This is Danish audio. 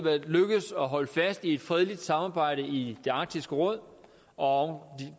lykkedes at holde fast i et fredeligt samarbejde i arktisk råd og